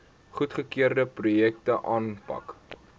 goedgekeurde projekte aanpak